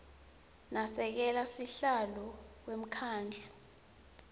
nasekela sihlalo wemkhandlu